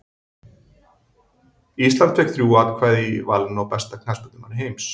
Ísland fékk þrjú atkvæði í valinu á besta knattspyrnumanni heims.